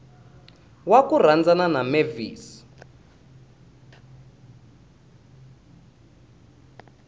wa ku rhandzana na mavis